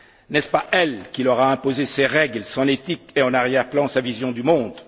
N'est ce pas elle qui leur a imposé ses règles, son éthique et, en arrière plan, sa vision du monde?